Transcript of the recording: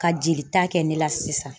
Ka jelita kɛ ne la sisan